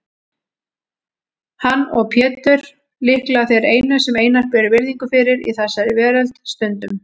Hann og Pétur líklega þeir einu sem Einar ber virðingu fyrir í þessari veröld, stundum